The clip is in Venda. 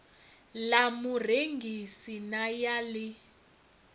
ḽa murengisi na ya ḽi